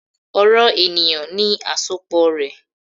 "Ọrọ eniyan ni asopọ rẹ."